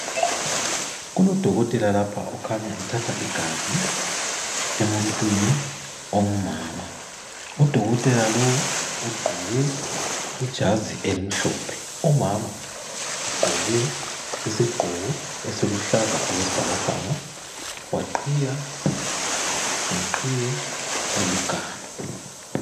Kulo dokotela lapha okhanya ethatha igazi emuntwini ongumama, udokotela lowu ugqoke ijazi elimhlophe, umama ugqoke esiluhlaza okwesibhakabhaka waqhiya ngeqhiye eliganu.